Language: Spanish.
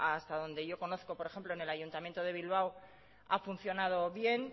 hasta donde yo conozco por ejemplo en el ayuntamiento de bilbao ha funcionado bien